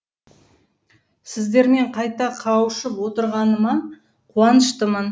сіздермен қайта қауышып отырғаныма қуаныштымын